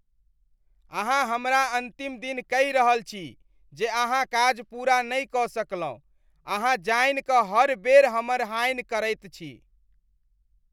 अहाँ हमरा अन्तिम दिन कहि रहल छी जे अहाँ काज पूरा नहि कऽ सकलहुँ, अहाँ जानि कऽ हर बेर हमर हानि करैत छी।